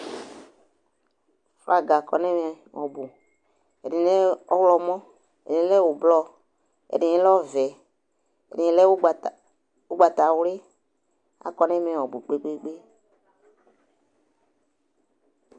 Flaga kɔ nʋ ɛmɛ ɔbʋ Ɛdɩnɩ lɛ ɔɣlɔmɔ, ɛdɩnɩ lɛ ʋblɔ, ɛdɩnɩ lɛ ɔvɛ, ɛdɩnɩ lɛ ʋgbata ʋgbatawlɩ, akɔ nʋ ɛmɛ ɔbʋ kpe-kpe-kpe